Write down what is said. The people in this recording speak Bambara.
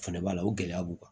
Fana b'a la o gɛlɛya b'u kan